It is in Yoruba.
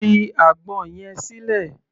Fi àgbọn yẹn sílẹ̀!